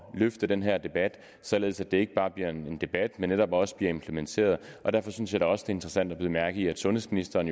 løfte den her debat således at det ikke bare bliver en debat men netop også bliver implementeret derfor synes jeg da også interessant at bide mærke i at sundhedsministeren